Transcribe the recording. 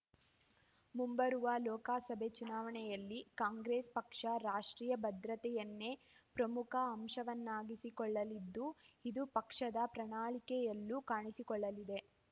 ಮುಂಬರುವ ಲೋಕಸಭೆ ಚುನಾವಣೆಗಳಲ್ಲಿ ಕಾಂಗ್ರೆಸ್ ಪಕ್ಷ ರಾಷ್ಟ್ರೀಯ ಭದ್ರತೆಯನ್ನೇ ಪ್ರಮುಖ ಅಂಶವನ್ನಾಗಿಸಿಕೊಳ್ಳಲಿದ್ದು ಇದು ಪಕ್ಷದ ಪ್ರಣಾಳಿಕೆಯಲ್ಲೂ ಕಾಣಿಸಿಕೊಳ್ಳಲಿದೆ